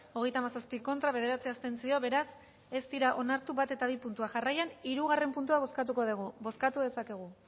hogeita hamazazpi contra bederatzi abstentzio beraz ez dira onartu bat eta bi puntua jarraian hirugarrena puntua bozkatuko dugu bozkatu dezakegu